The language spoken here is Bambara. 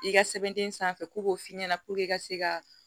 I ka sɛbɛnden sanfɛ ko k'o f'i ɲɛna i ka se ka